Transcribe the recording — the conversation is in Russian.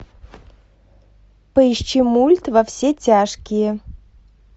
поищи мульт во все тяжкие